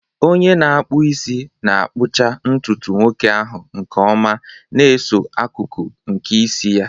Onye na-akpụ isi na-akpụcha ntutu nwoke ahụ nke ọma, na-eso akụkụ nke isi ya.